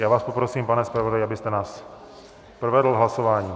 Já vás poprosím, pane zpravodaji, abyste nás provedl hlasováním.